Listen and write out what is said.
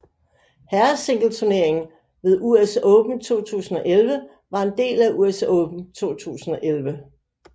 Herresingleturneringen ved US Open 2011 var en del af US Open 2011